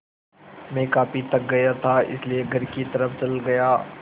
मैं काफ़ी थक गया था इसलिए घर की तरफ़ चला गया